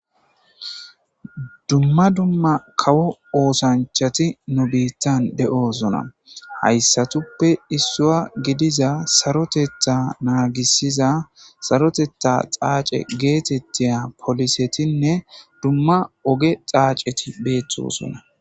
Dumma dumma kawo oosanchati nu biittan de7osona hayssatuppe issua gidiza sarotetha naagisiza sarotetha xaace geetettiya polisetinne dumma ogge xaaceti bettosona.